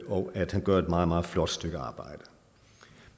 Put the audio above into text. og at han gør et meget meget flot stykke arbejde